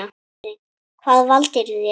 Katrín: Hvað valdirðu þér?